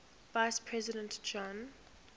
vice president john